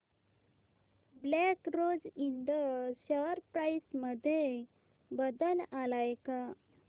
black Rose Ind share price मध्ये बदल आलाय का